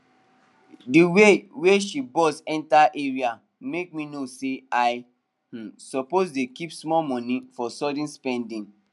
the way wey she bust enter area make me know say i um suppose dey keep small money for sudden spending